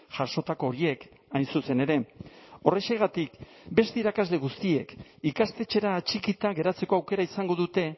jasotako horiek hain zuzen ere horrexegatik beste irakasle guztiek ikastetxera atxikita geratzeko aukera izango dute